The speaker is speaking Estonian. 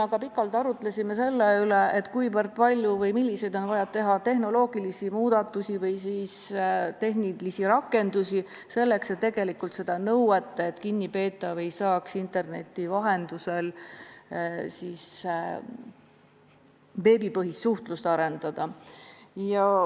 Me pikalt arutlesime selle üle, milliseid tehnoloogilisi muudatusi või tehnilisi rakendusi on vaja teha, et täita nõuet, et kinnipeetav ei tohi saada interneti vahendusel mingit suhtlust arendada.